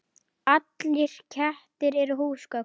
Allir kettir eru húsgögn